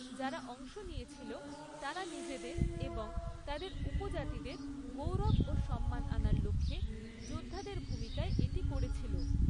যারা অংশ নিয়েছিল তারা নিজেদের এবং তাদের উপজাতিদের গৌরব ও সম্মান আনার লক্ষ্যে যোদ্ধাদের ভূমিকায় এটি করেছিল।